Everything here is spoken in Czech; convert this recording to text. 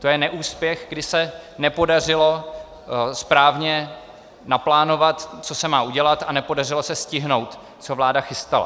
To je neúspěch, kdy se nepodařilo správně naplánovat, co se má udělat, a nepodařilo se stihnout, co vláda chystala.